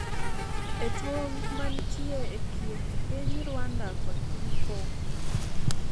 e tong' mantie e kind piny Rwanda kod Piny congo